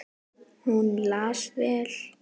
Hún las vel.